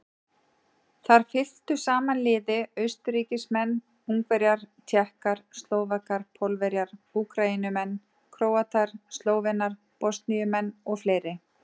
Þar fylktu saman liði Austurríkismenn, Ungverjar, Tékkar, Slóvakar, Pólverjar, Úkraínumenn, Króatar, Slóvenar, Bosníumenn og fleiri.